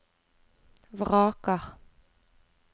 vraker